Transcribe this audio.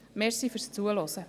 Danke fürs Zuhören.